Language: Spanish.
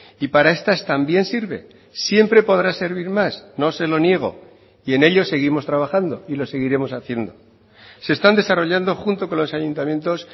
y para estas también sirve siempre podrá servir más no se lo niego y en ello seguimos trabajando y lo seguiremos haciendo se están desarrollando junto con los ayuntamientos